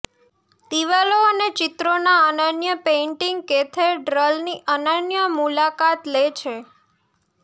દિવાલો અને ચિત્રોના અનન્ય પેઇન્ટિંગ કેથેડ્રલની અનન્ય મુલાકાત લે છે